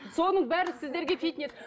соның бәрі сіздерге фитнес